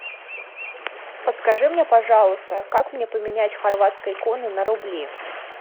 подскажи мне пожалуйста как мне поменять хорватские куны на рубли